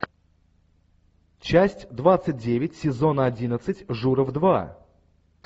часть двадцать девять сезона одиннадцать журов два